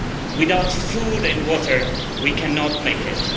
Without food and water we cannot make it.